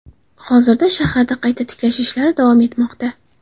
Hozirda shaharda qayta tiklash ishlari davom etmoqda .